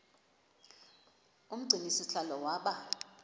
umgcini sihlalo waba